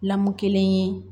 Lamu kelen ye